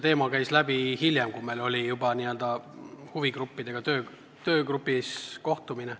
Küll käis see teema läbi hiljem, kui meil oli töögrupis juba huvigruppidega kohtumine.